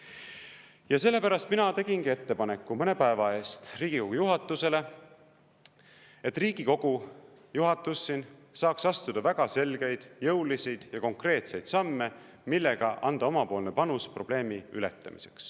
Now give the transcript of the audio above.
Ja sellepärast mina tegingi mõne päeva eest Riigikogu juhatusele ettepaneku, et Riigikogu juhatus siin saaks astuda väga selgeid, jõulisi ja konkreetseid samme, millega anda oma panus probleemi ületamiseks.